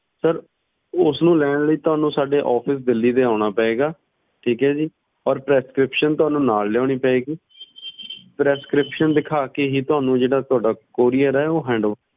sir ਉਸਨੂੰ ਲੈਣ ਲਾਇ ਤੁਹਾਨੂੰ ਸਾਡੇ officedelhi ਦੇ ਅਨਾ ਪਏਗਾ ਜੀ ਤੇ ਤੁਹਾਨੂੰ prescription ਨਾਲ ਲੈਣੀ ਪਾਏਗੀ prescription ਦਿਖਾ ਕੇ ਹੀ ਤੁਹਾਨੂੰ ਜਿਹੜਾ ਤੁਹਾਡਾ courier ਏ ਉਹ handover